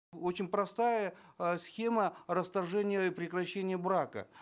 очень простая э схема расторжения и прекращения брака